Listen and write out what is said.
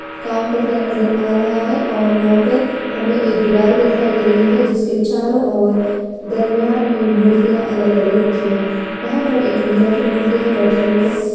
काम करता नज़र आ रहा है और यहाँ पर हमे एक दीवार दिखाई दे रही है जिसके चारों ओर दरमियान में मूर्तियां अलग-अलग रखी हुई हैं यहाँ पर एक महिला की मूर्ति है बैठे हुए।